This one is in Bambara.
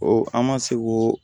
an ma se ko